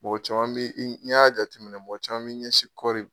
Mɔgɔ caman be n'i y'a jateminɛ mɔgɔ caman bi ɲɛsin kɔri ma